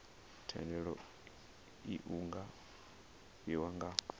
thendelo iu nga fhiwa nga